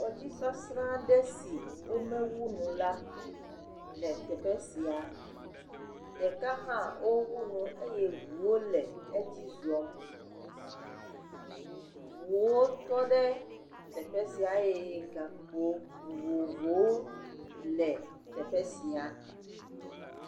Tɔ dzi sasra aɖe si womewu enu o la le teƒe sia ɖeka hã wowu nu eye ŋuwo le edzi zɔm, ŋuwo tɔ ɖe teƒe sia eye gakpo vovovowo le teƒe sia.